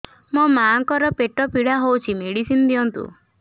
ମୋ ମାଆଙ୍କର ପେଟ ପୀଡା ହଉଛି ମେଡିସିନ ଦିଅନ୍ତୁ